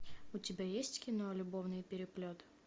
у тебя есть кино любовный переплет